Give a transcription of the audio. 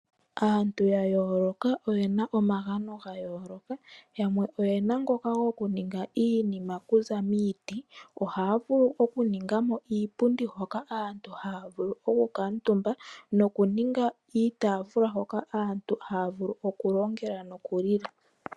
Aantu ya yooloka oyena omagano ga yooloka, yamwe oyena ngoka goku ninga iinima okuza miiti. Ohaya vulu oku ninga mo iipundi hoka aantu haya vulu oku kuutumba nokuninga iitaafula hoka aantu haya vulu oku longela noku lila.